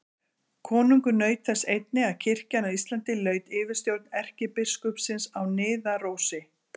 Konungur naut þess einnig að kirkjan á Íslandi laut yfirstjórn erkibiskupsins á Niðarósi.